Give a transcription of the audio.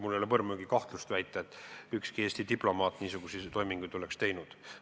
Mul ei ole põrmugi kahtlust, et ükski Eesti diplomaat niisuguseid toiminguid oleks teinud.